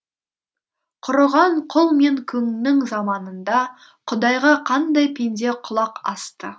құрыған құл мен күңнің заманында құдайға қандай пенде құлақ асты